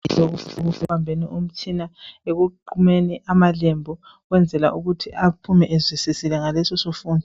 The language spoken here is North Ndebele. Uzesiza ekubambeni umtshina. Ekuqumeni amalembu. Ukwenzela ukuthi aphume ezwisisile ngalesisifundo.